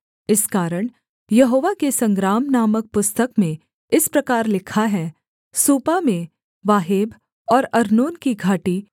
इस कारण यहोवा के संग्राम नामक पुस्तक में इस प्रकार लिखा है सूपा में वाहेब और अर्नोन की घाटी